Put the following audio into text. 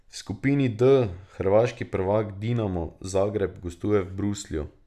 V skupini D hrvaški prvak Dinamo Zagreb gostuje v Bruslju.